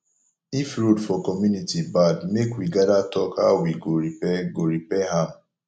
if road for community bad make we gather talk how we go repair go repair am